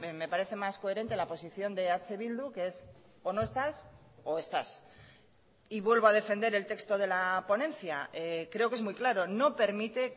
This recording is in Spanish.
me parece más coherente la posición de eh bildu que es o no estas o estas y vuelvo a defender el texto de la ponencia creo que es muy claro no permite